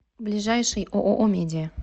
ближайший ооо медиа